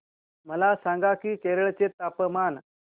मला सांगा की केरळ चे तापमान